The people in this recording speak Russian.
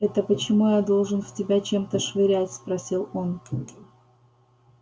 это почему я должен в тебя чем-то швырять спросил он